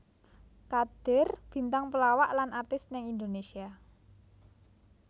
Kadir bintang pelawak lan artis ning Indonésia